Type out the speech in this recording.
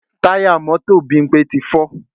Táyà mọ́tò Bímpé ti fọ́